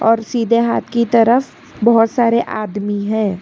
और सीधे हाथ की तरफ बहुत सारे आदमी हैं।